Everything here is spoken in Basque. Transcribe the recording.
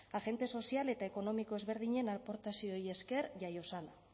agente sozial eta ekonomiko ezberdinen aportazioei esker jaio zen